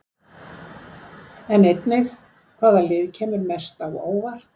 Sjá einnig: Hvaða lið kemur mest á óvart?